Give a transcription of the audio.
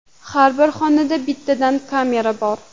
Har bir xonada bittadan kamera bor.